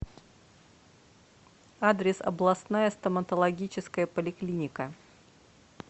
адрес областная стоматологическая поликлиника